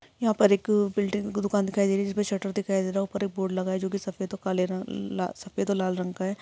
यहाँ पर एक बिल्डिंग दुकान दिखाई दे रही है जिसमे एक शटर दिखाई दे रहा है उपर एक बोर्ड लगा है जो की सफेद और काले ल सफेद और लाल रंग का है।